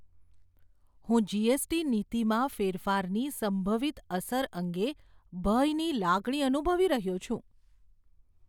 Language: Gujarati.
હું જી.એસ.ટી. નીતિમાં ફેરફારની સંભવિત અસર અંગે ભયની લાગણી અનુભવી રહ્યો છું.